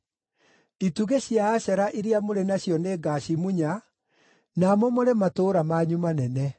Itugĩ cia Ashera iria mũrĩ nacio nĩngacimunya na momore matũũra manyu manene.